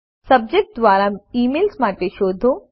subject દ્વારા emails માટે શોધો